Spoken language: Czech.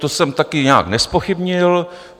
To jsem také nijak nezpochybnil.